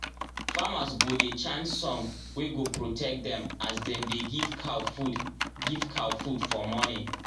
famers go dey chant song wey go protect them as dem dey give cow food give cow food for morning